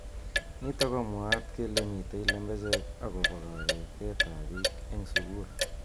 Nitok komwaat kele mitei lembechek akobo kabetet ab bik eng suku.